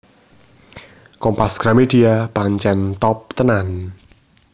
Kompas Gramedia pancen top tenan